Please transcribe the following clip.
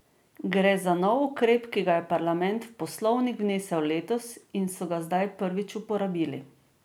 Gre za nov ukrep, ki ga je parlament v poslovnik vnesel letos in so ga zdaj prvič uporabili.